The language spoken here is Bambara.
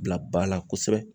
Bila ba la kosɛbɛ